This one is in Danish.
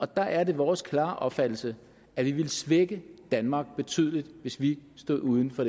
der er det vores klare opfattelse at vi ville svække danmark betydeligt hvis vi stod uden for